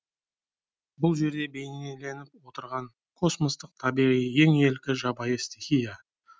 бұл жерде бейнеленіп отырған космостық табиғи ең ілкі жабайы стихия